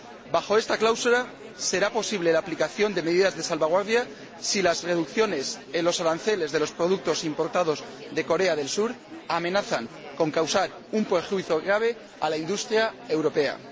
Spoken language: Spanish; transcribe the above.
Bajo esta cláusula será posible la aplicación de medidas de salvaguardia si las reducciones en los aranceles de los productos importados de Corea del Sur amenazan con causar un perjuicio grave a la industria europea.